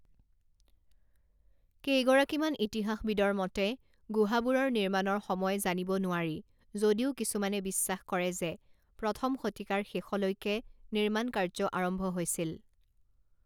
কেইগৰাকীমান ইতিহাসবিদৰ মতে গুহাবোৰৰ নিৰ্মাণৰ সময় জানিব নোৱাৰি যদিও কিছুমানে বিশ্বাস কৰে যে প্ৰথম শতিকাৰ শেষলৈকে নিৰ্মাণকাৰ্য আৰম্ভ হৈছিল।